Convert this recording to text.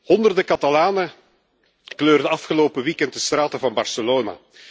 Honderden Catalanen kleurden afgelopen weekend de straten van Barcelona.